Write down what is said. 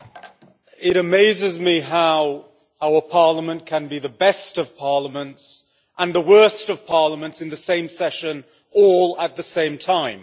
Mr President, it amazes me how our Parliament can be the best of parliaments and the worst of parliaments in the same session, all at the same time.